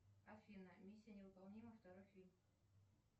афина миссия невыполнима второй фильм